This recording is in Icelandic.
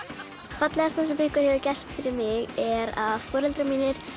fallegasta sem einhver hefur gert fyrir mig er að foreldrar mínir